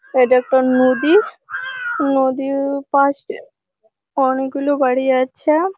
এটা একটা নদী। নদীর ওপাসে অনেক গুলো বাড়ি আছে।